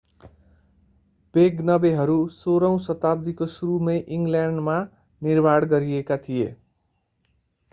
वेगनवेहरू 16 औँ शताब्दीको सुरुमै इङ्ग्ल्यान्डमा निर्माण गरिएका थिए